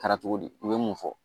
Kɛra cogo di u ye mun fɔ